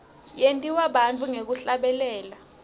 yentiwa bantfu ngekuhlabelela